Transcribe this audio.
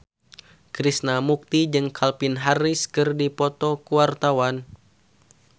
Krishna Mukti jeung Calvin Harris keur dipoto ku wartawan